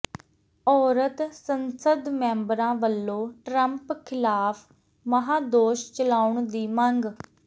ਔਰਤ ਸੰਸਦ ਮੈਂਬਰਾਂ ਵਲੋਂ ਟਰੰਪ ਖਿਲਾਫ਼ ਮਹਾਂਦੋਸ਼ ਚਲਾਉਣ ਦੀ ਮੰਗ